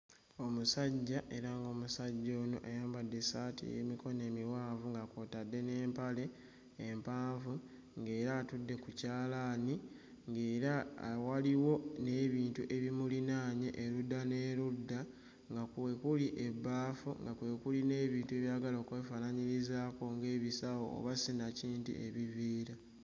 Omusajja era ng'omusajja ono ayambadde essaati ey'emikono emiwanvu nga kw'otadde n'empale empanvu ng'era atudde ku kyalaani ng'era awo waliwo n'ebintu ebimulinaanye erudda n'erudda nga kwe kuli ebbaafu nga kwe kuli n'ebintu ebyagala okwefaanaanyirizaako ng'ebisawo oba sinakindi ebiveera.